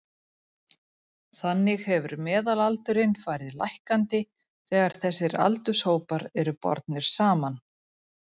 Þannig hefur meðalaldurinn farið lækkandi þegar þessir aldurshópar eru bornir saman.